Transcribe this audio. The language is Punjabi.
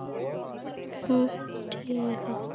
ਹਮ ਠੀਕ ਆ